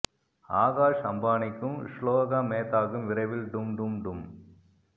ஆகாஷ் அம்பானிகும் ஷ்லோகா மேத்தாகும் விரைவில் டும் டும் டும்